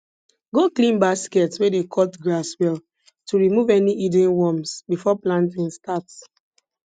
go clean basket wey dey cut grass well to remove any hidden worms before planting starts